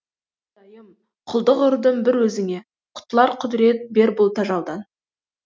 құдайым құлдық ұрдым бір өзіңеқұтылар құдірет бер бұл тажалдан